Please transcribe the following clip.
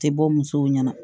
Tɛ bɔ musow ɲɛna